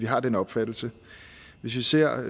har den opfattelse hvis vi ser